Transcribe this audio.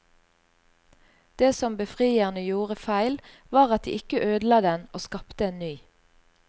Det som befrierne gjorde feil var at de ikke ødela den og skapte en ny.